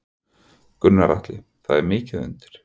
Gunnar Atli: Það er mikið undir?